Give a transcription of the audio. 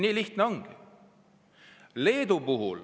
Nii lihtne see ongi.